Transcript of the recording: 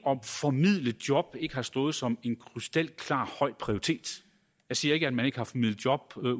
formidle job ikke har stået som en krystalklar høj prioritet jeg siger ikke at man ikke har formidlet job ude